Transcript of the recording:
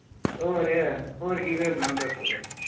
ਹੋਰ, ਹੋਰ ਕਿ ਕਰਨਾ ਹੁੰਦਾ school